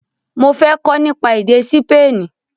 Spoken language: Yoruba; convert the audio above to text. Mo fẹ́ kọ́ nípa èdè Sípéènì